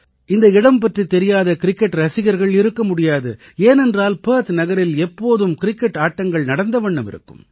இந்த இடம் பற்றித் தெரியாத கிரிக்கெட் ரசிகர்கள் இருக்க முடியாது ஏனென்றால் பெர்த் நகரில் எப்போதும் கிரிக்கெட் ஆட்டங்கள் நடந்த வண்ணம் இருக்கும்